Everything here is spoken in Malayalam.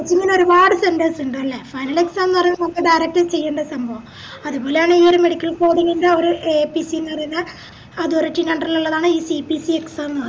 ഇപ്പൊപ്പിന്നെ ഒരുപാട് centers ഇണ്ട് ല്ലേ നല്ല സ്ഥലംന്ന് പറേന്നെ നമുക്ക് direct ചെയ്യണ്ടേ സംഭവ അത് പോലാണ് ഈയൊരു medical coding ൻറെ ഒര് AAPC പറേന്നെ authority ൻറെ under ലുള്ളതാണ് ഈ CPCexam